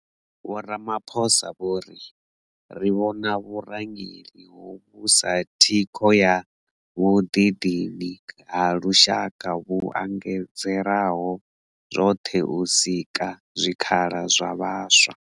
Vho Ramaphosa vho ri. Ri vhona vhurangeli hovhu sa thikho ya vhuḓidini ha lushaka vhu angaredzaho zwoṱhe u sika zwikhala zwa vhaswa.